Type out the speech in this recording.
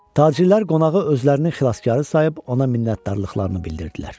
Tacirlər qonağı özlərinin xilaskarı sayıb ona minnətdarlıqlarını bildirdilər.